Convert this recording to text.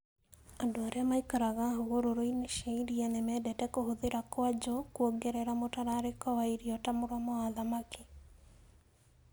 Andũ arĩa maikaraga hũgũrũrũ-inĩ cia iria nĩ mendete kũhũthĩra kwuaju kwongerera mũtararĩko wa irio ta mũromo wa thamaki.